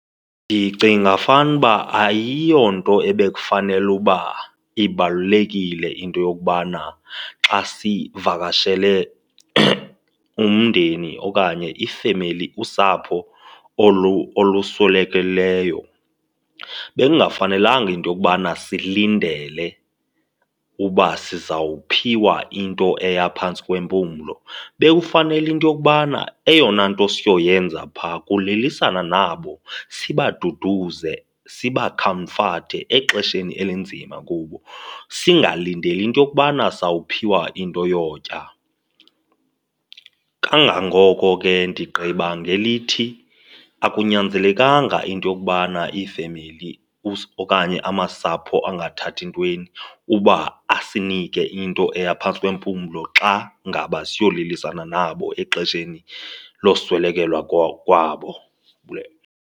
Ndicinga fanuba ayiyonto ebekufanele uba ibalulekile into yokubana xa sivakashele umndeni okanye iifemeli, usapho olu oluswelekelweyo, bekungafanelanga into yokubana silindele uba sizawuphiwa into eya phantsi kwempumlo. Bekufanele into yokubana eyona nto siyoyenza phaa kulilisana nabo sibaduduze, sibakhamfathe exesheni elinzima kubo singalindeli into yokubana sawuphiwa into yotya. Kangangoko ke ndigqiba ngelithi, akunyanzelekanga into yokubana iifemeli okanye amasapho angathathi entweni uba asinike into eya phantsi kwempumlo xa ngaba siyolilisana nabo exesheni loswelekelwa kwabo .